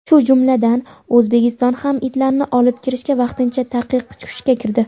shu jumladan O‘zbekistondan ham itlarni olib kirishga vaqtincha taqiq kuchga kirdi.